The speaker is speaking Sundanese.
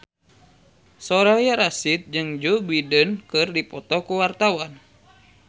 Soraya Rasyid jeung Joe Biden keur dipoto ku wartawan